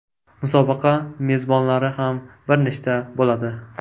Musobaqa mezbonlari ham bir nechta bo‘ladi.